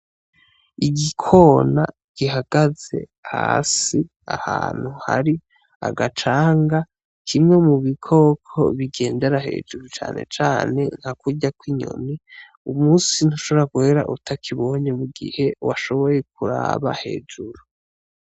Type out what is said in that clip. Igikona gihagaze hasi ahantu hari agacanga, kimwe mubikoko bigendera hejuru canecane nka kurya kw'inyoni, umusi ntushobora guhera utakibonye mugihe washoboye kuraba hejuru.